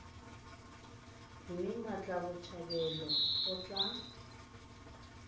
mme mmatla botshabelo o tla